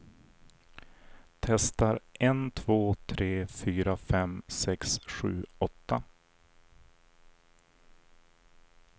Testar en två tre fyra fem sex sju åtta.